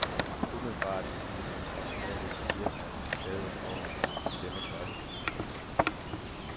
Umiddelbart ville en automatisk gearkasse klæde en vogn i denne klasse. punktum